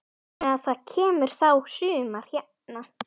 Þannig að það kemur þá sumar hérna.